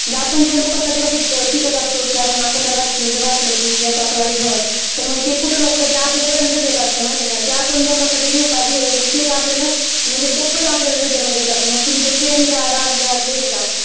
म्हणजे जे आपण लोकांसाठी वाईट चित्तात असतो म्हणजे आपल्याला वाटलं म्हणजे याच असं वाईट व्हावं तर मग ते कुठं ना कुठं आपल्यापर्यंतच येत असत जे काही आपण लोकांसाठी देऊ ते म्हणजे double आपल्याला return देत असलं म्हणजे ते तुम्ही प्रेम द्या, द्वेष द्या, राग द्या.